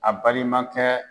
A balima kɛ